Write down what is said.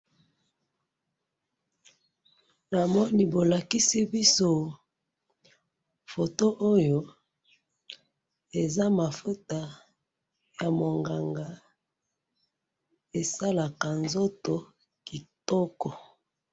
namoni bolakisi biso foto oyo eza mafuta ya monganga esalaka nzoto kitoko.